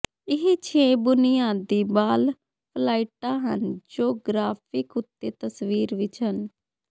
ਇਹ ਛੇ ਬੁਨਿਆਦੀ ਬਾਲ ਫਲਾਈਟਾਂ ਹਨ ਜੋ ਗ੍ਰਾਫਿਕ ਉੱਤੇ ਤਸਵੀਰ ਵਿਚ ਹਨ